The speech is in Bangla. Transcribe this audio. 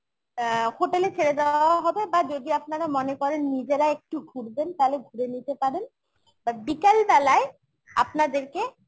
অ্যাঁ hotel এ ছেড়ে দেওয়া হবে বা যদি আপনারা মনে করেন নিজেরা একটু ঘুরবেন তাহলে ঘুরে নিতে পারেন but বিকেল বেলায় আপনাদেরকে